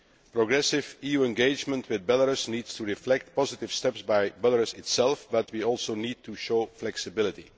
Progressive EU engagement with Belarus needs to reflect positive steps by Belarus itself, but we also need to show flexibility.